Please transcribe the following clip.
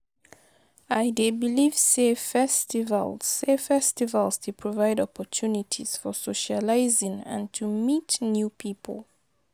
I dey believe say festivals say festivals dey provide opportunities for socializing and to meet new people.